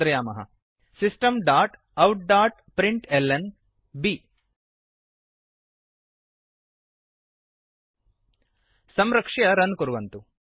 systemoutप्रिंटल्न system dot out dot print L N बि संरक्ष्य run कुर्वन्तु